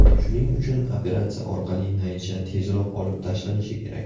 Shuning uchun operatsiya orqali naycha tezroq olib tashlanishi kerak.